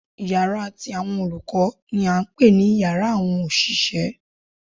Yàrá ti àwọn olùkó ni à n pè ní yàrá àwọn òṣìṣẹ́